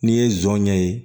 N'i ye jɔn ɲɛ ye